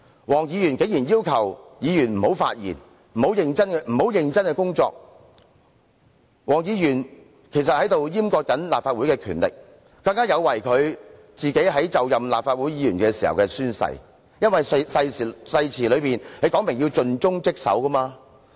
黃議員竟然要求議員不要發言及不要認真工作，是在閹割立法會的權力，有違他就任立法會議員時的宣誓，因為誓詞說明要盡忠職守。